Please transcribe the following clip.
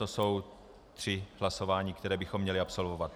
To jsou tři hlasování, která bychom měli absolvovat.